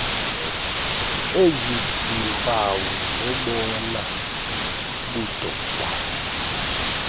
eziziiimpawu zobona budoda